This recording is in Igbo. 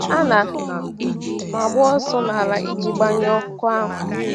A na m agba ọsọ n’ala iji gbanyụọ ọkụ ahụ.